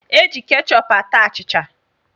E ji kechọp ata achịcha